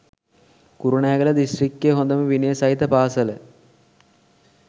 කුරුණෑගල දිස්ත්‍රික්කෙ හොදම විනය සහිත පාසල